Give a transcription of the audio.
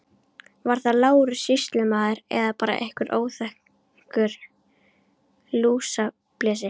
Var það Lárus sýslumaður eða bara einhver óþekktur lúsablesi.